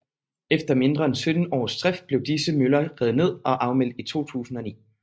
Efter mindre end 17 års drift blev disse møller revet ned og afmeldt i 2009